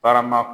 Barama